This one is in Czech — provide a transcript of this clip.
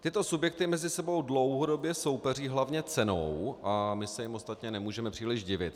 Tyto subjekty mezi sebou dlouhodobě soupeří hlavně cenou a my se jim ostatně nemůžeme příliš divit.